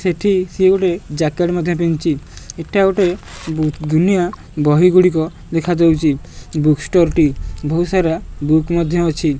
ସେଠି ସିଏ ଗୋଟେ ଜ୍ୟାକେଟ ମଧ୍ୟ ପିନ୍ଧିଚି ଏଟା ଗୋଟେ ଦୁନିଆ ବହି ଗୁଡ଼ିକ ଦେଖା ଯାଉଚି ବୁକ୍ ଷ୍ଟୋର ଟି ବହୁ ସାରା ବୁକ୍ ମଧ୍ୟ ଅଛି।